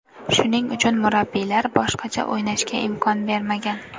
Shuning uchun, murabbiylar boshqacha o‘ynashga imkon bermagan.